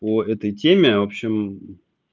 по этой теме в общем